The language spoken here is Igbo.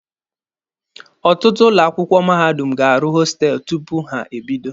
Ọtụtụ ụlọ akwụkwọ mahadum ga-arụ hostelụ tupu ha ebido.